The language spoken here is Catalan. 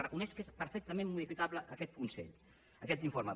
reconeix que és perfectament modificable aquest informe